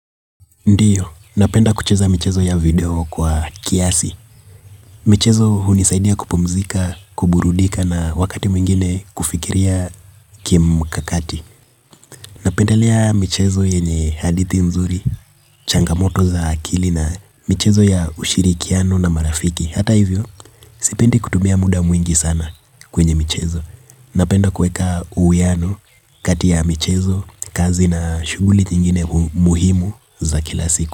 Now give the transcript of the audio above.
Ndiyo, napenda kucheza michezo ya video kwa kiasi. Michezo hunisaidia kupumzika, kuburudika na wakati mwingine kufikiria kim kakati. Napendalea michezo yenye hadithi mzuri, changamoto za akili na michezo ya ushirikiano na marafiki. Hata hivyo, sipendi kutumia muda mwingi sana kwenye michezo. Napenda kueka uwiano, kati ya michezo, kazi na shuguli nyingine muhimu za kila siku.